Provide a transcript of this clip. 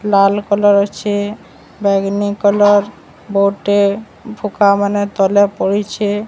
ଲାଲ୍ colour ଅଛି ବାଇଗନି colour ବୋହୁ ଟେ ଭୋକା ମାନେ ତଲେ ପଡ଼ିଛି।